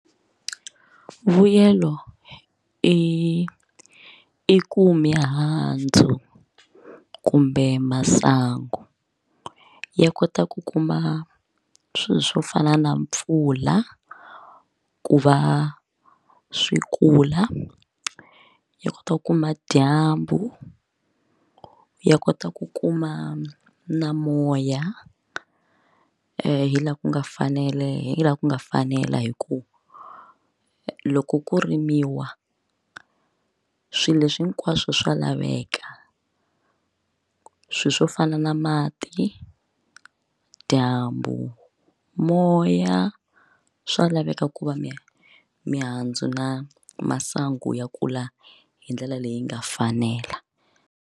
Mbuyelo i i ku mihandzo kumbe masango ya kota ku kuma swilo swo fana na mpfula ku va swi kula yi kota ku kuma dyambu ya kota ku kuma na moya hi la ku nga fane hi la ku nga fanela hi ku loko ku rimiwa swilo leswi hinkwaso swa laveka swilo swo fana na mati dyambu moya swa laveka ku va mihandzo na masango ya kula hi ndlela leyi yi nga fanela.